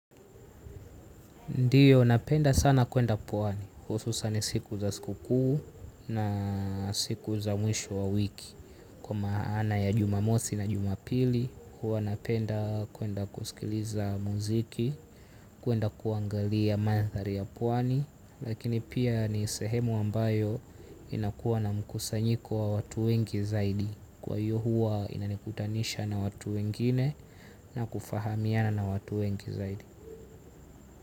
Ndiyo, napenda sana kuenda Pwani. Hususani siku za siku kuu na siku za mwisho wa wiki. Kwa maana ya Jumamosi na Jumapili, huwa napenda kuenda kusikiliza muziki, kuenda kuangalia maathari ya Pwani. Lakini pia ni sehemu ambayo inakua na mkusanyiko wa watu wengi zaidi. Kwa hiyo huwa inanikutanisha na watu wengine na kufahamiana na watu wengi zaidi.